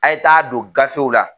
A' ye t'a don gafew la.